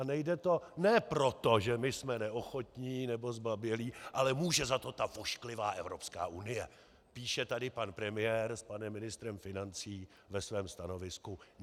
A nejde to ne proto, že my jsme neochotní nebo zbabělí, ale může za to ta ošklivá Evropská unie, píše tady pan premiér s panem ministrem financí ve svém stanovisku.